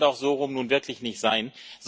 Das kann doch so herum nun wirklich nicht sein.